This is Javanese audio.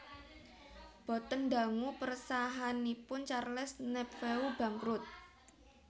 Boten dangu persahaanipun Charles Nepveu bangkrut